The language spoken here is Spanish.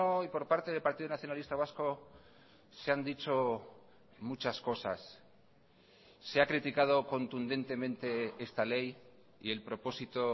y por parte del partido nacionalista vasco se han dicho muchas cosas se ha criticado contundentemente esta ley y el propósito